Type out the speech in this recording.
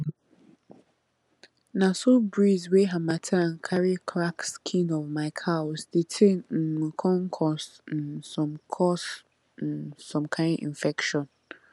na so breeze wey harmattan carry crack skin of my cows the thing um con cause um some cause um some kain infection